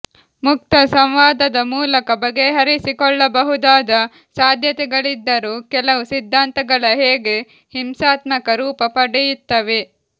ಮುಕ್ತ ಸಂವಾದದ ಮೂಲಕ ಬಗೆಹರಿಸಿಕೊಳ್ಳಬಹುದಾದ ಸಾಧ್ಯತೆಗಳಿದ್ದರೂ ಕೆಲವು ಸಿದ್ಧಾಂತಗಳ ಹೇಗೆ ಹಿಂಸಾತ್ಮಕ ರೂಪ ಪಡೆಯುತ್ತವೆ